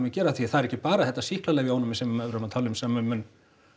gera því það er ekki bara þetta sýklalyfjaónæmi sem við erum að tala um sem mun